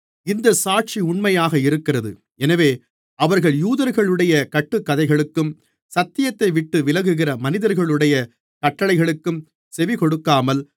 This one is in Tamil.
இந்தச் சாட்சி உண்மையாக இருக்கிறது எனவே அவர்கள் யூதர்களுடைய கட்டுக்கதைகளுக்கும் சத்தியத்தைவிட்டு விலகுகிற மனிதர்களுடைய கட்டளைகளுக்கும் செவிகொடுக்காமல்